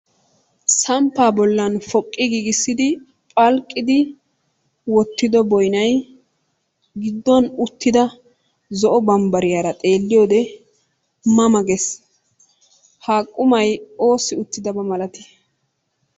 Samppa bollan poqi giigissidi phalqqidi wottido boynnay gidduwan uttiday zo'o bambbariyaara xeelliyoode ma ma gees. Ha qumay oossi uttidaaba malati?